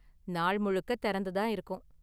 நாள் முழுக்க திறந்து தான் இருக்கும்.